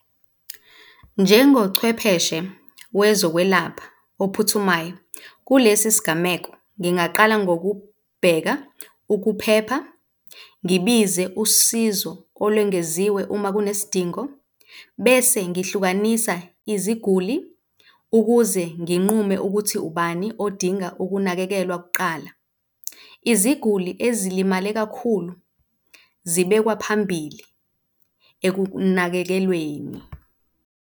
Njengochwepheshe wezokwelapha ophuthumayo kulesi sigameko, ngingaqala ngokubheka ukuphepha, ngibize usizo olwengeziwe uma kunesidingo, bese ngihlukanisa iziguli ukuze nginqume ukuthi ubani odinga ukunakekelwa kuqala. Iziguli ezilimale kakhulu zibekwa phambili ekunakekelweni.